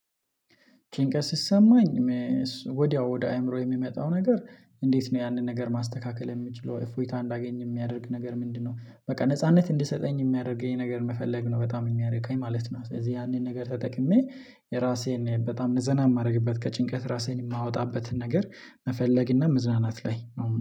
ችግር ሲሰማኝ ወዲያው ወደ አእምሮ የሚመጣው ነገር እንዴት ነው ያንን ነገር ማስተካከል የምችለው እፎይታ እንዳገኝ የሚያደርግ ነገር ምንድነው? በቃ ነጻነት እንድሰጠኝ የሚያደርገኝ ነገር መፈለግ ነው። በጣም የሚያደርግ እኔ ማለት ነ ስለዚህ ያንን ነገር ተጠቅሜ የራሴን በጣም ዘና የማደርግበት ከጭንቀት ራሴን የማወጣበትን ነገር መፈለግ እና መዝናናት ላይ